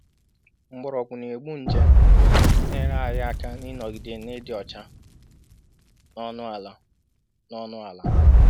Mgbọrọgwụ na-egbu nje na-enyere anyị aka n'ịnogide n'ịdị ọcha n'ọnụ ala. n'ọnụ ala.